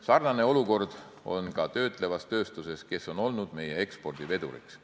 Sarnane olukord on ka töötlevas tööstuses, kes on olnud meie ekspordiveduriks.